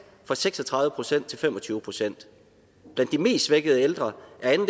fra seks og tredive procent til fem og tyve procent blandt de mest svækkede ældre